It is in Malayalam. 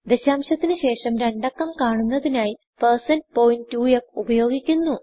ദശാംശത്തിന് ശേഷം രണ്ടക്കം കാണുന്നതിനായി 2f ഉപയോഗിക്കുന്നു